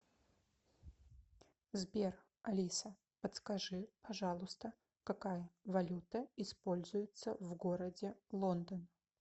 сбер алиса подскажи пожалуйста какая валюта используется в городе лондон